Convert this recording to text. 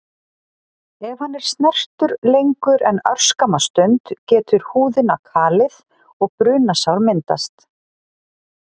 Ef hann er snertur lengur en örskamma stund getur húðina kalið og brunasár myndast.